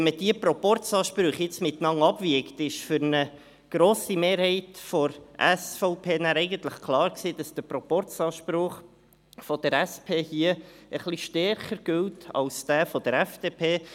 Wenn man diese Proporzansprüche gegeneinander abwiegt, war für eine grosse Mehrheit der SVP nachher eigentlich klar, dass der Proporzanspruch der SP hier etwas stärker gilt als jener der FDP.